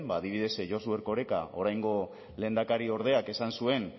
adibidez josu erkorekak oraingo lehendakariordeak esan zuen